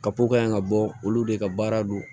Kapo kaɲi ka bɔ olu de ka baara don